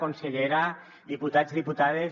consellera diputats i diputades